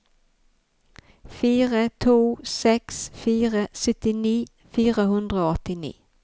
fire to seks fire syttini fire hundre og åttini